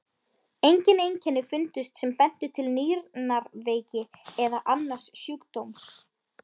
Engin einkenni fundust sem bentu til nýrnaveiki eða annars sjúkdóms.